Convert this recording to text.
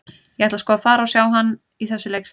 Ég ætla sko að fara og sjá hann í þessu leikriti.